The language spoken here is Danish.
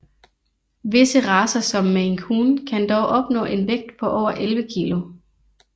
Visse racer som Maine Coon kan dog opnå en vægt på over 11 kg